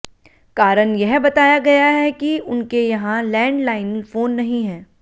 कारण यह बताया गया है कि उनके यहां लैंडलाइन फोन नहीं है